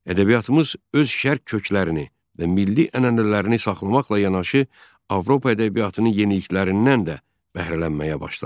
Ədəbiyyatımız öz şərq köklərini və milli ənənələrini saxlamaqla yanaşı, Avropa ədəbiyyatının yeniliklərindən də bəhrələnməyə başladı.